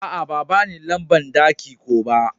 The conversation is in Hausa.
A'a, ba bani lamban daki ko ba.